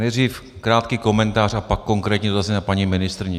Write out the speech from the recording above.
Nejdřív krátký komentář a pak konkrétní dotazy na paní ministryni.